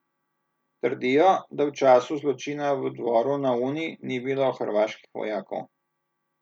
Trdijo, da v času zločina v Dvoru na Uni ni bilo hrvaških vojakov.